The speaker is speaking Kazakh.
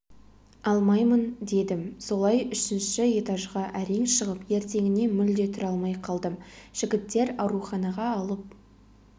алмаймын дедім солай үшінші этажға әрең шығып ертеңіне мүлде тұра алмай қалдым жігіттер ауруханаға алып